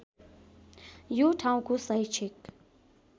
यो ठाउँको शैक्षिक